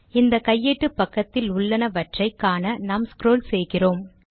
இந்த கையேட்டு பக்கத்தில் உள்ளனவற்றை காண நாம் ஸ்க்ரால் செய்கிறேன்